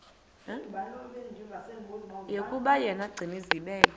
yokuba yena gcinizibele